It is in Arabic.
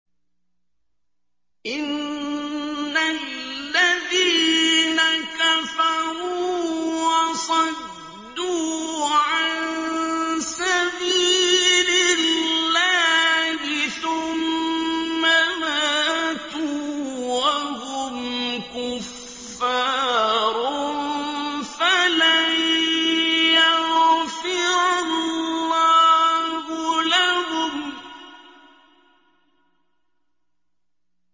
إِنَّ الَّذِينَ كَفَرُوا وَصَدُّوا عَن سَبِيلِ اللَّهِ ثُمَّ مَاتُوا وَهُمْ كُفَّارٌ فَلَن يَغْفِرَ اللَّهُ لَهُمْ